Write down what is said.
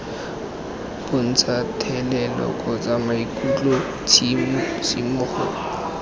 bontsha thelelo kgotsa maikutlo tshisimogo